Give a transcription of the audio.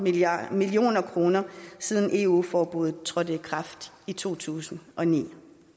millioner kroner siden eu forbuddet trådte i kraft i to tusind og ni